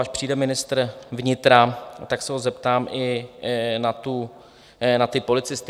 Až přijde ministr vnitra, tak se ho zeptám i na ty policisty.